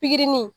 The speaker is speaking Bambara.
Pikiri